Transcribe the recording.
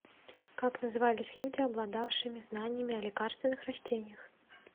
как назывались люди обладавшими знаниями о лекарственных растениях